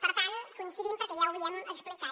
per tant coincidim perquè ja ho havíem explicat